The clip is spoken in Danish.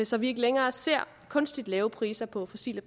så vi ikke længere ser kunstigt lave priser på fossile